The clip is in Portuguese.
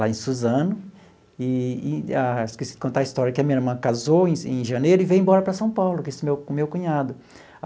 lá em Suzano, e e ah esqueci de contar a história, que a minha irmã casou em em janeiro e veio embora para São Paulo com esse meu meu cunhado.